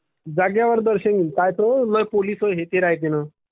जागेवर दर्शन करु पाह्ये ते ना... is not clear